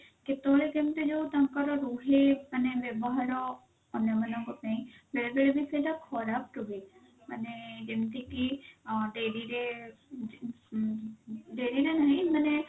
କେତେବେଳେ କେମିତି ଯଉ ତାଙ୍କର ରୁହେ ମାନେ ବ୍ୟବହାର ଅନ୍ୟ ମାନଙ୍କ ପାଇଁ ବେଳେ ବେଳେ ବି ସେଇଟା ଖରାପ ରୁହେ ମାନେ ଯେମତି କି ଅ ଡେରିରେ ଉଁ ଡେରିରେ ନୁହେଁ ମାନେ